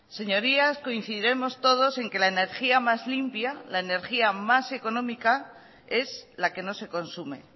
señorías coincidiremos todos en que la energía más limpia la energía más económica es la que no se consume